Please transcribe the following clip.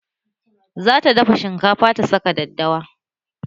Zata dafa shinkafa ta saka daddawa